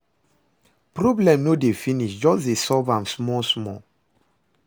Problem no dey finish, jus dey solve am small small